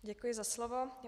Děkuji za slovo.